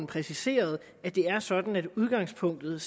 præciseret at det er sådan at udgangspunktet